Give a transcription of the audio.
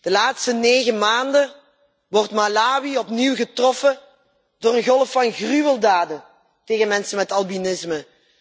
De laatste 9 maanden wordt Malawi opnieuw getroffen door een golf van gruweldaden tegen mensen met albinisme.